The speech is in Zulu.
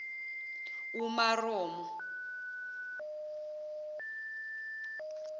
umaromo